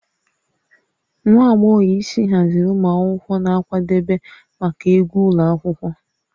Nwa agbọghọ isi haziri ụmụ akwụkwọ na nkwadebe maka egwu ụlọ akwụkwọ